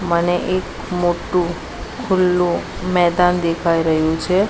મને એક મોટ્ટુ ખુલ્લુ મેદાન દેખાય રહ્યુ છે.